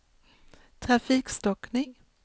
trafikstockning